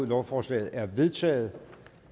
lovforslaget er vedtaget